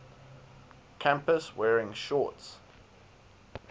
campus wearing shorts